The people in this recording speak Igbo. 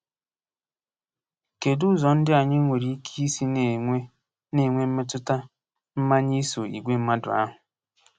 Kedụ ụzọ ndị anyị nwere ike isi na-enwe na-enwe mmetụta mmanye iso igwe mmadụ ahụ?